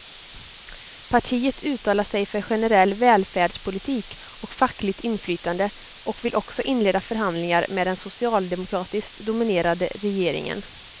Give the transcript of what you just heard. Partiet uttalar sig för generell välfärdspolitik och fackligt inflytande och vill också inleda förhandlingar med den socialdemokratiskt dominerade regeringen.